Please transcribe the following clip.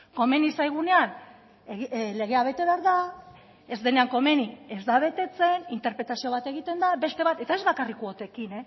komeni zaigunean legea bete behar da ez denean komeni ez da betetzen interpretazio bat egiten da beste bat eta ez bakarrik kuotekin